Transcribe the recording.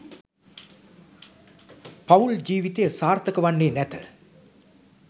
පවුල් ජීවිතය සාර්ථක වන්නේ නැත.